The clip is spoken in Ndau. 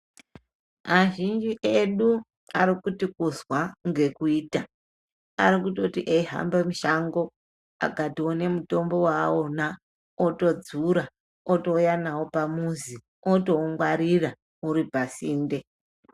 Azhinji edu ari kuti kuzwa ngekuita arikutoti eihambe mushango akatoona mutombo waano otodzura otouye nao pamuzi otoungwarira uri pasinte.